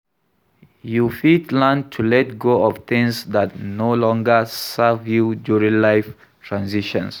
You fit learn to let go of things dat no longer serve you during life transitions.